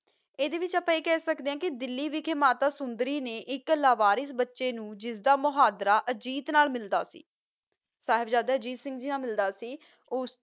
ਅੰਦਾ ਵਿਤਚ ਅਪਾ ਏਹਾ ਖਾ ਸਕਦਾ ਆ ਕਾ ਡਾਲੀ ਵਿਤਚ ਮਾਤਾ ਸੋੰਦਾਰੀ ਨਾ ਏਕ ਲਾ ਵਾਰਿਸ ਬਚਾ ਨੂ ਜਿੰਦਾ ਮੋਹੰਦ੍ਰ ਅਜੀਤ ਨਾਲ ਮਿਲਦਾ ਸੀ ਸਾਹਿਬ ਜ਼ਾਯਦਾ ਅਜੀਤ ਸਿੰਘ ਨਾਲ ਮਿਲਦਾ ਸੀ